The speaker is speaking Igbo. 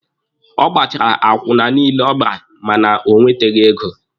Ọ gbachara akwụna niile ọ gbara mana o nweteghi ego.